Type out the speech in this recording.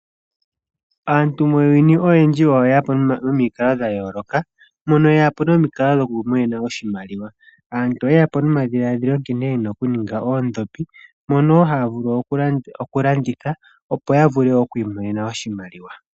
Aantu muuyuni oyendji oye ya po nomikalo dha yooloka, mono yeya po nomikalo dhoku imonena oshimaliwa. Aantu oye ya po nomadhiladhilo nkene yena okuninga oondhopi mono woo haa vulu okulanditha opo ya vule okwi imonene oshimaliwa.